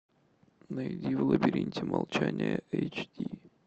найди в лабиринте молчания эйч ди